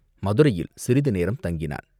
மதுரையில் சிறிது நேரம் தங்கினான்.